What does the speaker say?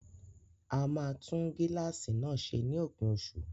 A máa tún gíláàsì náà ṣe ní òpin oṣù